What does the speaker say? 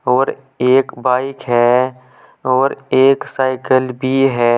और एक बाइक है और एक साइकिल भी है।